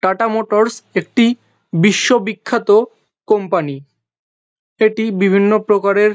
Tata Motors একটি বিশ্ব বিখ্যাত কোম্পানি । এটি বিভিন্ন প্রকারের--